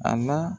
A la